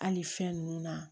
Hali fɛn nunnu na